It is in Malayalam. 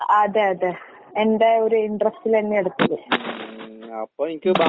അതെ അതെ. എന്റെ ഒര് ഇന്റെറെസ്റ്റിലെന്നെയാ എടുത്തത്. ഉം.